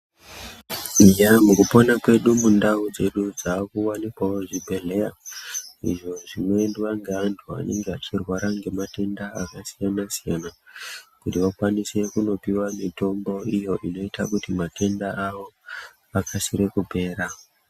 Eya mukupona kwedu mundau dzedu makuwanikwavo zvibhedhleya. Izvo zvinoendwa ngevantu vanenge vachirwara ngematenda akasiyana-siyana, kuti vakwanise kunopiwa mitombo iyo inoita kuti matenda avo akasire kupera.